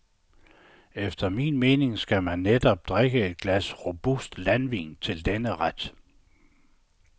Efter min mening skal man netop drikke et glas robust landvin til denne ret.